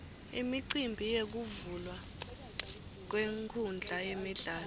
imicimbi yekuvulwa kwenkhundla yemidlalo